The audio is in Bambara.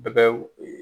Bɛɛ bɛ